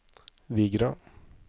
Vigra